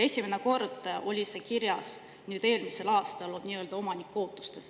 Esimene kord oli see kirjas nüüd eelmisel aastal nii-öelda omaniku ootustes.